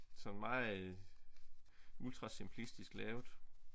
Sådan meget ultra simplistisk lavet